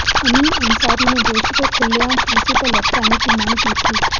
अमीन अंसारी ने दोषी को खुलेआम फांसी पर लटकाने की मांग की थी